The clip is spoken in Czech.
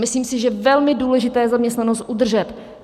Myslím si, že velmi důležité je zaměstnanost udržet.